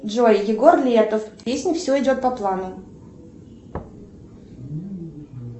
джой егор летов песня все идет по плану